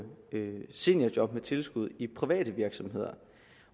lave seniorjob med tilskud i private virksomheder